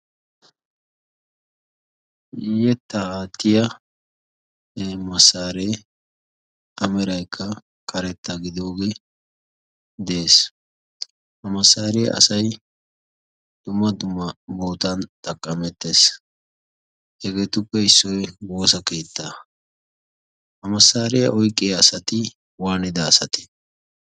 hetaatiyane masaaree ameraykka karetta gidoogee de'ees. ha masaaree asay dumma duma bootan xaqqamettees. hegeetuppe issoy woosa kiitta amasaariyaa oyqqiya asati waanida asati?